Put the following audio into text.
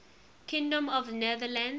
kingdom of the netherlands